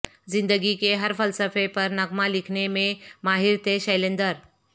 زندگی کے ہر فلسفے پر نغمہ لکھنے میں ماہر تھے شیلندر